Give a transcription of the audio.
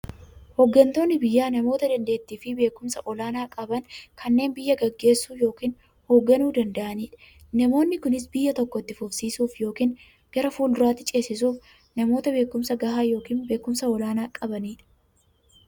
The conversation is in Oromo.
Hooggantoonni biyyaa namoota daanteettiifi beekumsa olaanaa qaban, kanneen biyya gaggeessuu yookiin hoogganuu danda'aniidha. Namoonni kunis, biyya tokko itti fufsiisuuf yookiin gara fuulduraatti ceesisuuf, namoota beekumsa gahaa yookiin beekumsa olaanaa qabaniidha.